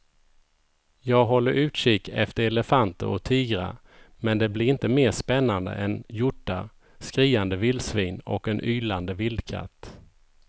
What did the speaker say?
Jag håller utkik efter elefanter och tigrar men det blir inte mer spännande än hjortar, skriande vildsvin och en ylande vildkatt.